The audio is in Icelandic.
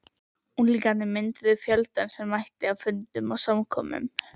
Unglingarnir mynduðu fjöldann sem mætti á fundum og samkomum.